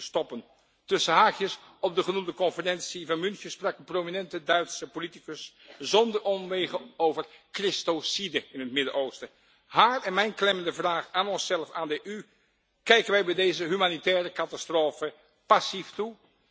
stoppen? Tussen haakjes op de genoemde conferentie in München sprak een prominente Duitse politicus zonder omwegen over christocide in het Midden Oosten. Haar en mijn klemmende vraag aan onszelf, aan de EU kijken wij bij deze humanitaire catastrofe passief toe?